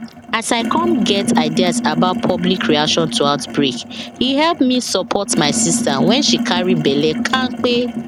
as i come get ideas about public reaction to outbreake help me support my sister when she carry belle kampe